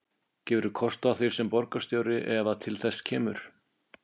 Gefurðu kost á þér sem borgarstjóri ef að til þess kemur?